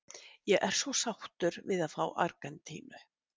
Ég er svo sáttur við að fá Argentínu.